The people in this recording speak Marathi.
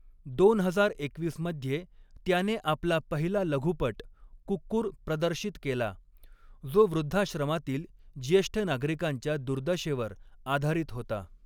दोन हजार एकवीस मध्ये त्याने आपला पहिला लघुपट 'कुक्कुर' प्रदर्शित केला, जो वृद्धाश्रमातील ज्येष्ठ नागरिकांच्या दुर्दशेवर आधारित होता.